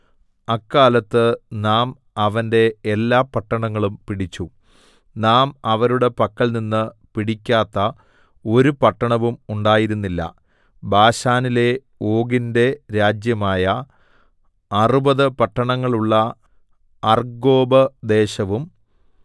അക്കാലത്ത് നാം അവന്റെ എല്ലാ പട്ടണങ്ങളും പിടിച്ചു നാം അവരുടെ പക്കൽനിന്ന് പിടിക്കാത്ത ഒരു പട്ടണവും ഉണ്ടായിരുന്നില്ല ബാശാനിലെ ഓഗിന്റെ രാജ്യമായ അറുപത് പട്ടണങ്ങളുള്ള അർഗ്ഗോബ് ദേശവും